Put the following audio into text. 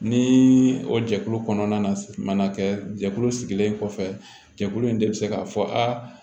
Ni o jɛkulu kɔnɔna na jɛkulu sigilen kɔfɛ jɛkulu in de bɛ se k'a fɔ a